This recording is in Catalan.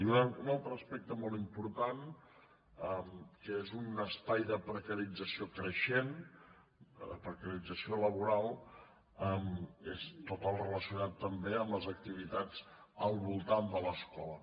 i un altre aspecte molt important que és un espai de precarització creixent la precarització laboral és tot el relacionat també amb les activitats al voltant de l’escola